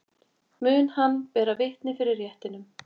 Mun hann bera vitni fyrir réttinum